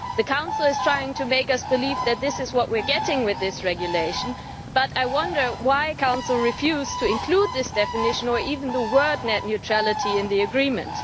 The Council is trying to make us believe that this is what we are getting with this regulation, but I wonder why the Council refused to include this definition, or even the word net neutrality, in the agreement.